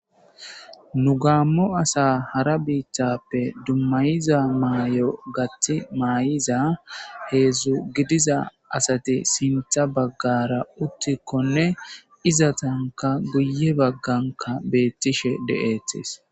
nu gaammo asa hara biittappe dummayiza maay7o gati maay7iza heedzdzu gidiza asati sintha baggara uttikkonne iza tanka guye bagganka beettishe de7eetes